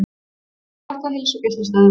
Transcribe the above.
Vilja fækka heilsugæslustöðvum